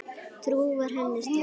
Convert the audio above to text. Trú var henni stoð.